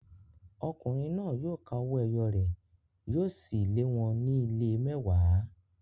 Ọkùnrin náà yóò ka owó ẹyọ rẹ̀, yóò sì lé wọn ní ìlé mẹ́wàá.